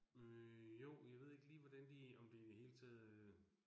Øh jo, jeg ved ikke lige hvordan de, om de i det hele taget øh